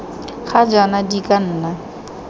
ga jaana di ka nna